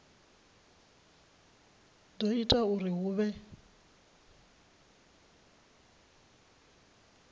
do ita uri hu vhe